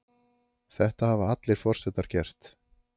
þetta hafa allir forsetar gert